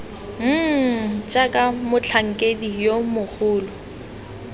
mmm jaaka motlhankedi yo mogolo